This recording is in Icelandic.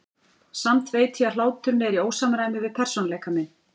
Samt veit ég að hláturinn er í ósamræmi við persónuleika minn.